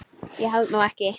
Ég held nú ekki!